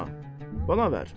Rəana, bana ver.